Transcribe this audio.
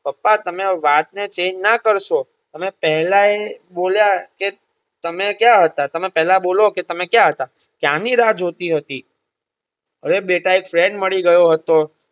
પપ્પા તમે વાતને change ના કરસો તમે પહેલા એ બોલ્યા કે તમે ક્યાં હતા તમે પહેલા બોલો કે તમે ક્યાં હતા ક્યારની રાહ જોતી હતી. અરે બેટા એક friend મળી ગયો હતો.